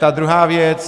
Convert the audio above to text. Ta druhá věc.